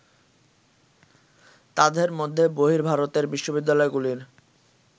তাঁদের মধ্যে বহির্ভারতের বিশ্ববিদ্যালয়গুলির